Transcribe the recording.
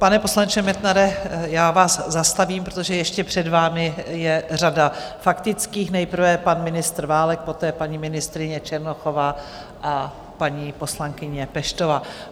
Pane poslanče Metnare, já vás zastavím, protože ještě před vámi je řada faktických; nejprve pan ministr Válek, poté paní ministryně Černochová a paní poslankyně Peštová.